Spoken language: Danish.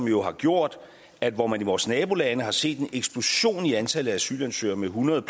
jo gjort at hvor man i vores nabolande har set en eksplosion i antallet af asylansøgere med 100